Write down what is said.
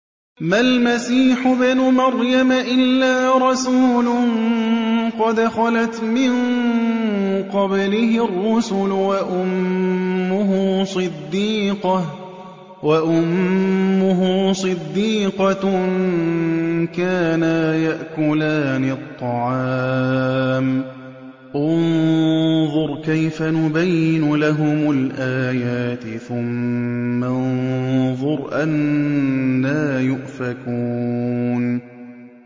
مَّا الْمَسِيحُ ابْنُ مَرْيَمَ إِلَّا رَسُولٌ قَدْ خَلَتْ مِن قَبْلِهِ الرُّسُلُ وَأُمُّهُ صِدِّيقَةٌ ۖ كَانَا يَأْكُلَانِ الطَّعَامَ ۗ انظُرْ كَيْفَ نُبَيِّنُ لَهُمُ الْآيَاتِ ثُمَّ انظُرْ أَنَّىٰ يُؤْفَكُونَ